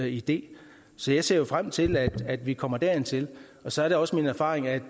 idé så jeg ser frem til at vi kommer dertil så er det også min erfaring at